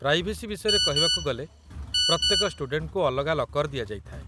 privacy ବିଷୟରେ କହିବାକୁ ଗଲେ, ପ୍ରତ୍ୟେକ ଷ୍ଟୁଡେଣ୍ଟଙ୍କୁ ଅଲଗା ଲକର୍ ଦିଆଯାଇଥାଏ